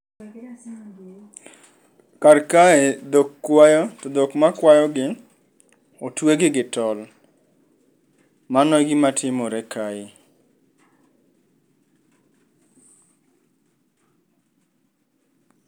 Kar kae, dhok kwayo to dhok makwayogi otuegi gitol. Mano e gima timore kae.